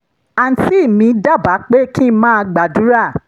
àǹtí mi dábàá pé kí n máa gbàdúrà